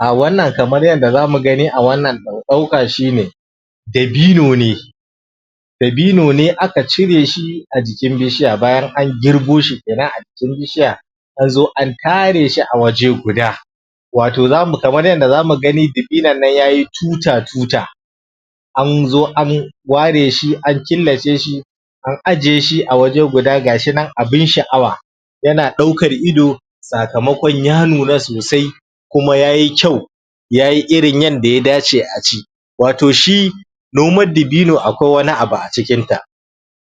Ah wannan kamar yanda zamu gani a wannan ɗauka shi ne dabino ne dabino ne aka cire shi a jikin bishiya bayan an girbo shi kenan a jikin bishiya kazo a tare shi a waje guda wato zamu kamar yanda zamu gani dabinon yayi tuta-tuta anzo an ware shi an killace shi an ajiye shi a waje guda, gashi nan abin sha'awa yana ɗaukan ido sakamakon ya nuna sosai kuma yayi kyau yayi irin yanda ya dace a ci wato shi noman dabino akwai wani abu a cikin ta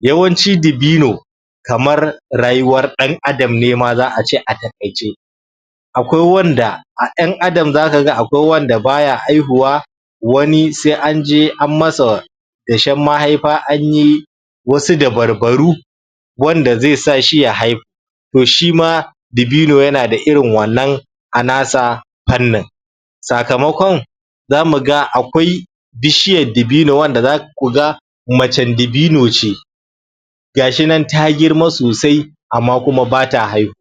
yawanci dabino kamar rayuwar ɗan adam ne ma za'a ce a taƙaice akwai wanda a ƴan adam zaka ga akwai wanda baya haihuwa wani sai an je an masa dashen mahaifa anyi wasu dabarbaru wanda zai sa shi ya haihu toh shima dabino yanada irin wannan a nasa fannin sakamakon zamu ga akwai bishiyan dabino wanda zaku ga macen dabino ce gashi nan ta girma sosai amma kuma bata haihuwa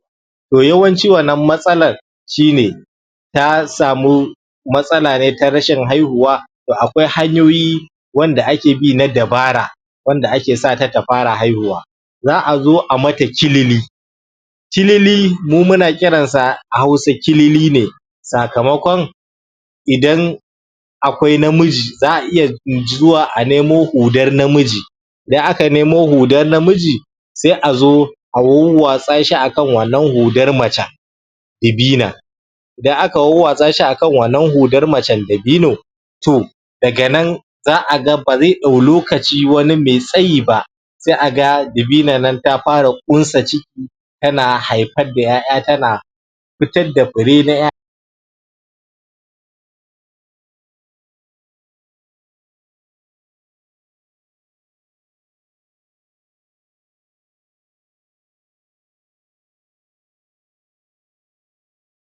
toh yawnci wannan matsalar shi ne ta samu matsala ne ta rashin haihuwa toh akwai hanyoyi wanda ake bi na dabara wanda ake sata ta fara haihuwa za'a zo a mata kilili kilili mu muna kiran sa a hausa kilili ne sakamakon idan akwai namiji za'a iya zuwa a nemo hudar namiji idan aka nemo hudar namiji sai a zo a wawwatsa shi akan wannan hudar macen dabinon idan aka wawwatsa shi akan wannan hudar macen dabinon toh daga nan za'a ga bazai ɗau lokaci wani mai tsayi ba sai a ga dabinon ta fara ƙunsa ce tana haifar da ƴaƴa tana fitar da fure na ƴa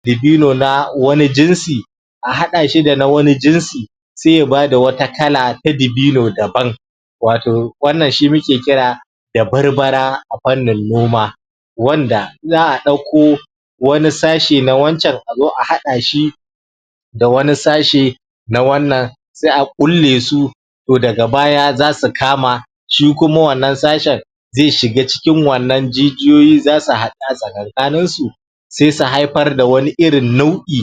dabino na wani jinsi a haɗa shi da na wani jinsi sai ya bada wata kala ta dabino daban wato wannan shi muke kira da barbara a fannin noma wanda za'a ɗauko wani sashi na wancan a zo a haɗa shi da wani sashi na wannan sai a ƙulle su toh daga baya zasu kama shi kuma wannan sashen zai shiga cikin wannan jijiyoyi zasu ha ɗa tsakankanin su sai su haifar da wani irin nau'i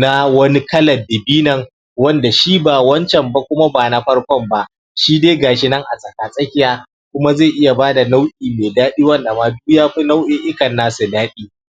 na wani kalan dabinon wanda shi ba wancan ba kuma ba na farkon ba shi dai gashi nan a tsaka-tsakiya kuma zai iya bada nau' i mai daɗi wanda ma duk yafi nau'i'ikan nasu daɗi